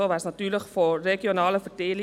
So wäre es natürlich regional aufgeteilt.